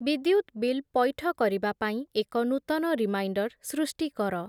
ବିଦ୍ୟୁତ୍ ବିଲ୍ ପୈଠ କରିବା ପାଇଁ ଏକ ନୂତନ ରିମାଇଣ୍ଡର୍ ସୃଷ୍ଟି କର ।